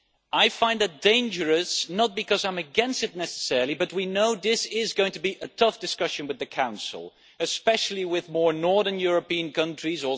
I find that dangerous, not because I am against it necessarily, but we know that this is going to be a tough discussion with the Council, especially with more northern European countries.